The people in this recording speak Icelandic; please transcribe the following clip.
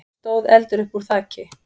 stóð eldur uppúr þaki.